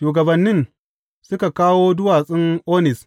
Shugabannin suka kawo duwatsun Onis.